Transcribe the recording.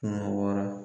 Kɛmɛ wɔɔrɔ